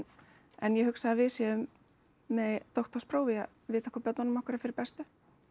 en ég hugsa að við séum með doktorspróf í að vita hvað börnunum okkar er fyrir bestu